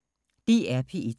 DR P1